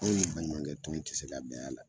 Anw ni baɲumankɛ tɔn ti se ka bɛn a la